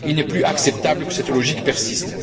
Il n'est plus acceptable que cette logique persiste.